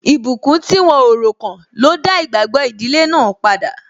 Ìbùkún tí wọ́n o ro kàn ló dá igbagbo ìdílé náà padà.